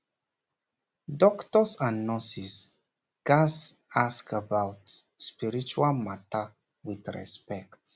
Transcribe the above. doctors and nurses gats ask about spiritual matter with respect